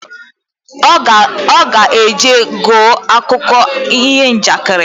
Oga eje gee akụko iho njakịrị